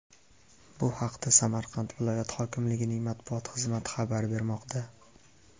Bu haqda Samarqand viloyat hokimligining matbuot xizmati xabar bermoqda .